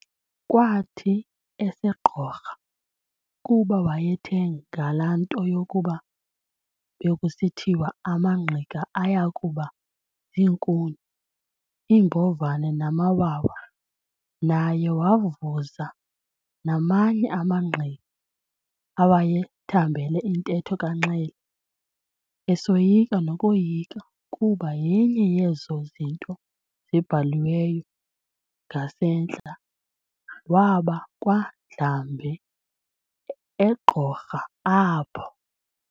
Kwathi eseGqorha, kuba wayethe ngalaa nto yokuba bekusithiwa amaNgqika ayakuba ziinkuni, iimbovane namawa, naye wavuza namanye amaNgqika awaye thambele intetho kaNxele, esoyika nokoyika ukuba yenye yezo zinto zibhaliweyo, ngasentla, waba kwaNdlambe eGqorha apho.